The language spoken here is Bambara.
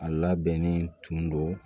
A labɛnnen tun don